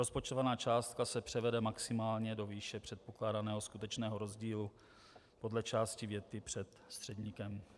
rozpočtovaná částka se převede maximálně do výše předpokládaného skutečného rozdílu podle části věty před středníkem.